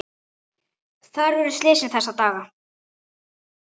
Þar urðu slysin þessa daga.